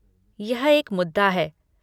यह एक मुद्दा है।